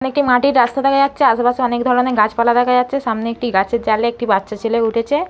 এখানে একটি মাটির রাস্তা দেখা যাচ্ছে আশেপাশে অনেক ধরনের গাছপালা দেখা যাচ্ছে সামনে একটি গাছের জালে একটি বাচ্চা ছেলে উঠেছে।